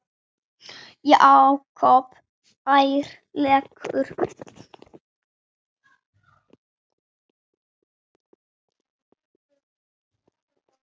Jakob ærlegur